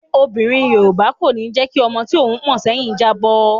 Obìnrin Yorùbá kò ní jẹ́ kí ọmọ tí òun pọ̀n sẹ́yìn jábọ́.